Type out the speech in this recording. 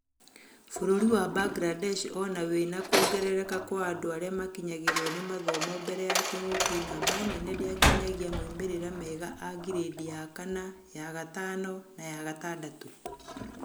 Bũrũri wa Mbangirandesh ona wĩna kuongereka kwa andũ arĩa makinyagĩrwo nĩ mathomo mbere ya kĩng'ũki namba nene ndĩakinyagia moimĩrĩra mega a ngirĩndi ya kana, ya gatano na ya gatandatũ.